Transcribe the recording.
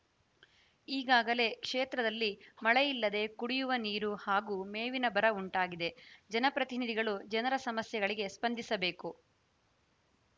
ಈಗಾಗಲೇ ಕ್ಷೇತ್ರದಲ್ಲಿ ಮಳೆಯಿಲ್ಲದೆ ಕುಡಿಯುವ ನೀರು ಹಾಗೂ ಮೇವಿನ ಬರ ಉಂಟಾಗಿದೆ ಜನಪ್ರತಿನಿಧಿಗಳು ಜನರ ಸಮಸ್ಯೆಗಳಿಗೆ ಸ್ಪಂದಿಸಬೇಕು